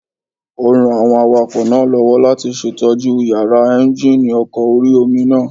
Ó ran àwọn awakọ̀ náà lọ́wọ́ láti ṣètójú yàrá éúnjínì ọkọ̀ orí-omi náà